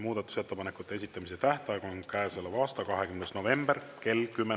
Muudatusettepanekute esitamise tähtaeg on käesoleva aasta 20. november kell 10.